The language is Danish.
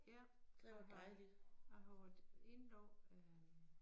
Ja har jeg jeg har været indlagt øh